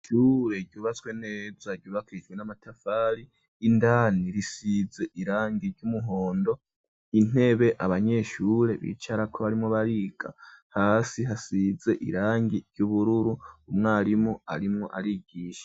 Isuhure ryubatswe neza ryubakijwe n'amatafari indani risize irangi ry'umuhondo intebe abanyeshure bicara ko barimo barika hasi hasize irangi ry'ubururu umwarimu arimwo arigisha.